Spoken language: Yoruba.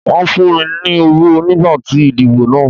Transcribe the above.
Wọ́n fún mi ní owó nígbà ìdìbò náà.